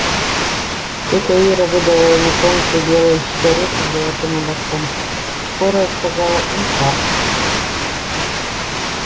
тётя ира выдала ему тонкую белую сигарету с золотым ободком скорая сказала инфаркт